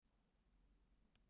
Eins kalt og á Íslandi?